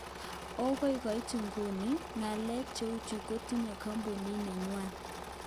"Okoi koit iguni, ngalek cheuchu kotinye kompunit nenywan.